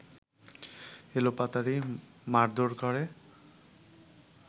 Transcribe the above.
এলোপাতাড়ি মারধোর করে